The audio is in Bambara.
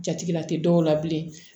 Jatigɛ la tɛ dɔw la bilen